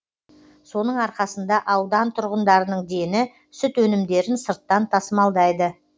соның арқасында аудан тұрғындарының дені сүт өнімдерін сырттан тасымалдайды